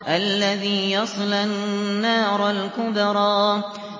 الَّذِي يَصْلَى النَّارَ الْكُبْرَىٰ